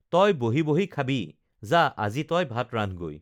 তই বহি বহি খাবি যা আজি তই ভাত ৰান্ধগৈ